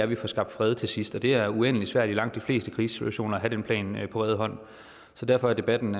vi får skabt fred til sidst og det er uendelig svært i langt de fleste krigssituationer at have den plan på rede hånd så derfor er debatten